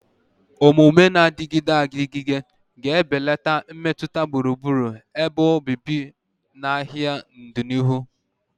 Omume na-adịgide adịgide ga-ebelata mmetụta gburugburu ebe obibi na ahịa n'ọdịnihu.